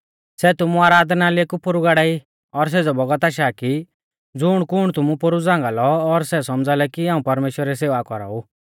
सै तुमु आराधनालय कु पोरु गाड़ाई और सेज़ौ बौगत आशा की ज़ुणकुण तुमु पोरु झ़ांगा लौ और सै सौमझ़ा लै कि हाऊं परमेश्‍वरा री सेवा कौराऊ